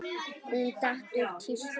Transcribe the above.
Hún datt úr tísku.